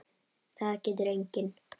Það getur enginn.